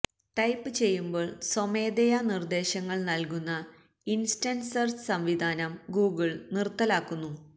type ചെയ്യുമ്പോൾ സ്വമേധയാ നിർദ്ദേശങ്ങൾ നൽകുന്ന ഇൻസ്റ്റന്റ് സെർച്ച് സംവിധാനം ഗൂഗിൾ നിർത്തലാക്കുന്നു